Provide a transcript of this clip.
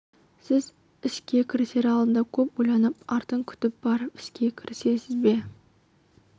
сіз іске кірісер алдында көп ойланып артын күтіп барып іске кірісесіз бе